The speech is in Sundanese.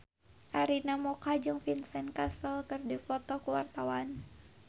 Arina Mocca jeung Vincent Cassel keur dipoto ku wartawan